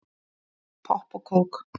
Popp og kók